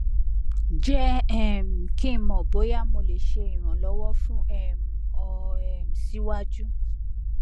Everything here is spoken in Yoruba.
jẹ um ki n mọ boya mo le ṣe iranlọwọ fun um ọ um siwaju